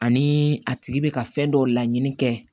Ani a tigi bɛ ka fɛn dɔw laɲini kɛ